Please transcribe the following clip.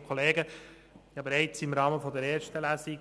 Ich habe Ihnen bereits im Rahmen der ersten Lesung